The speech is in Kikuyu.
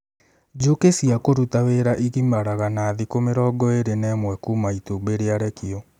Njũkĩ cia kũruta wĩra igimaraga na thikũ mĩrongo ĩrĩ na ĩmwe kuuma itumbĩ rĩarekio